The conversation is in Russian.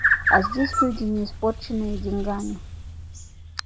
а здесь люди не испорченные деньгами